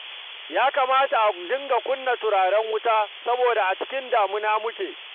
Ya kamata a dinga kunna turaren wuta saboda a cikin damina muke